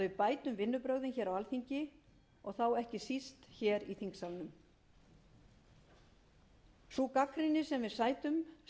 við bætum vinnubrögðin hér á alþingi og þá ekki síst hér í þingsalnum sú gagnrýni sem við sætum